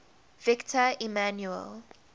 victor emmanuel